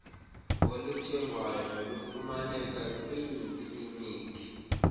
oluthengwayo nolufumaneka kwiiklimikhi